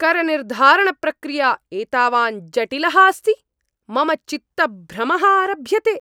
करनिर्धारणप्रक्रिया एतावान् जटिलः अस्ति, मम चित्तभ्रमः आरभ्यते!